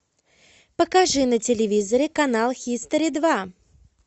покажи на телевизоре канал хистори два